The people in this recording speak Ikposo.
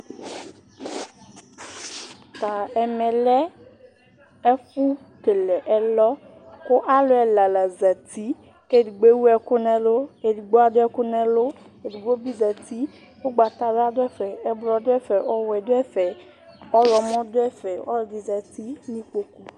Ɛmɛ lɛ ɛfʋkele ɛlɔ, kʋ alʋ la ɛla zǝtɩ, kʋ edigbo ewʋ ɛkʋ nʋ ɛlʋ, edigbo adʋ ɛkʋ nʋ ɛlʋ, edigbo bɩ zǝtɩ Ugbatawla dʋ ɛfɛ, ɛblɔ dʋ ɛfɛ, ɔɣlɔmɔ dʋ ɛfɛ Ɔlɔdɩ zǝtɩ nʋ ikpoku